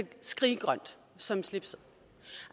skriggrønt som slipset